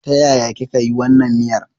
Ta yaya kika yi wannan miyar?